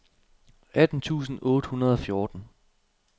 atten tusind otte hundrede og fjorten